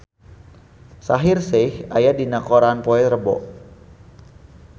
Shaheer Sheikh aya dina koran poe Rebo